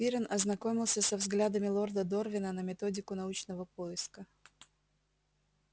пиренн ознакомился со взглядами лорда дорвина на методику научного поиска